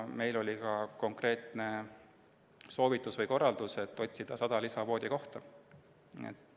Meile anti konkreetne soovitus või korraldus hankida juurde 100 lisavoodikohta.